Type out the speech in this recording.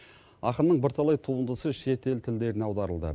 ақынның бірталай туындысы шетел тілдеріне аударылды